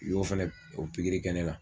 U y'o fɛnɛ o pikiri kɛ ne la